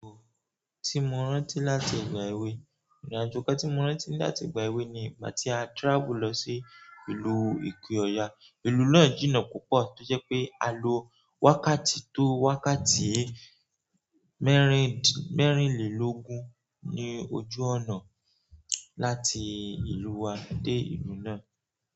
Ohun tí mo rántí láti ìgbà èwe, ìrìn-àjò kan tí mo rántí láti ìgbà èwe ni ìgbà tí a travel lọ sí ìlú Ìpi-Ọ̀ya. Ìlú náà jìnnà púpọ̀ tí ó jẹ́ pé a lo wákàtí tó wákàtí mẹ́rìnlélógún ní ojú ọ̀nà láti ìlú wa dé ìlú náà.